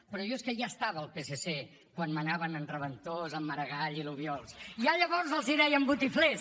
però jo és que ja estava al psc quan manaven en reventós en maragall i l’obiols i ja llavors els deien botiflers